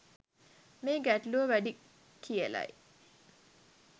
මේ ගැටලුව වැඩි කියලයි